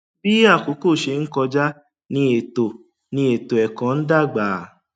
bí àkókò ṣe ń kọjá ní ètò ní ètò ẹkọ ń dàgbà